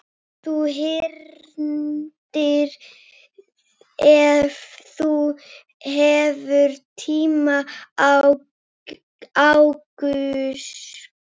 Þú hringir ef þú hefur tíma og áhuga.